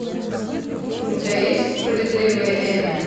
у тебя есть справедливая эми